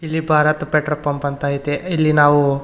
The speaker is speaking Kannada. ಇಲ್ಲಿ ಭಾರತ್ ಪೆಟ್ರೋಲ್ ಪಂಪ್ ಅಂತ ಐತೆ ಇಲ್ಲಿ ನಾವು --